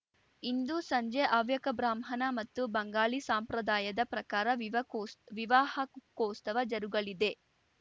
ಇಂದು ಸಂಜೆ ಹವ್ಯಕ ಬ್ರಾಹ್ಮಣ ಮತ್ತು ಬಂಗಾಳಿ ಸಂಪ್ರದಾಯದ ಪ್ರಕಾರ ವಿವಾಕೋಸ್ ವಿವಾಹೋಕೋಸ್ತವ ಜರುಗಲಿದೆ